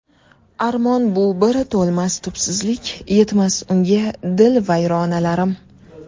Armon bu bir to‘lmas tubsizlik, Yetmas unga dil vayronlarim.